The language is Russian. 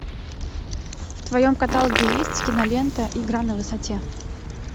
в твоем каталоге есть кинолента игра на высоте